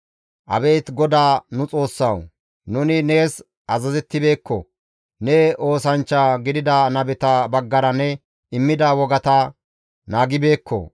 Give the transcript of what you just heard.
Abeet GODAA nu Xoossawu! Nuni nees azazettibeekko; ne oosanchcha gidida nabeta baggara ne immida wogata naagibeekko.